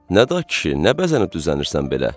Nəda kişi, nə bəzənib düzənirsən belə?